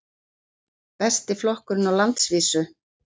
Besti flokkurinn á landsvísu